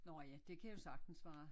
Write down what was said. Nå ja det kan jo sagten være